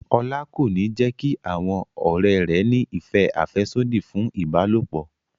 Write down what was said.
Ọlá kò ní jẹ́ kí àwọn ọ̀rẹ́ rẹ̀ ní ìfẹ́ àfẹ́sódì fún ìbálòpọ̀